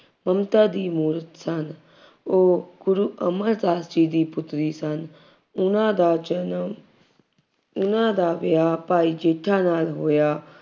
ਮਮਤਾ ਦੀ ਮੂਰਤ ਸਨ। ਉਹ ਗੁਰੂ ਅਮਰਦਾਸ ਜੀ ਦੀ ਪੁੱਤਰੀ ਸਨ। ਉਹਨਾ ਦਾ ਜਨਮ ਉਹਨਾ ਦਾ ਵਿਆਹ ਭਾਈ ਜੇਠਾ ਨਾਲ ਹੋਇਆ।